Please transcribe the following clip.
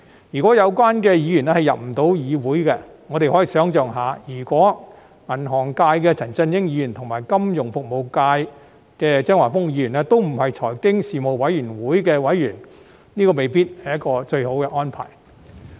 如果有關的議員不能加入委員會，我們可以想象一下，如果金融界的陳振英議員和金融服務界的張華峰議員不是財經事務委員會的委員，這未必是一個最好的安排。